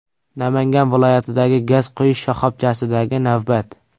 Namangan viloyatidagi gaz quyish shoxobchasidagi navbat.